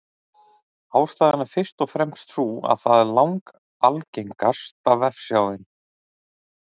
Ástæðan er fyrst og fremst sú að það er langalgengasta vefsjáin.